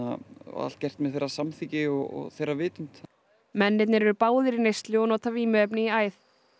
allt gert með þeirra samþykki og þeirra vitund mennirnir eru báðir í neyslu og nota vímuefni í æð